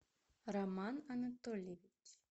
роман анатольевич